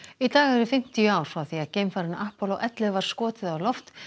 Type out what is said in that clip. í dag eru fimmtíu ár frá því að geimfarinu ellefu var skotið á loft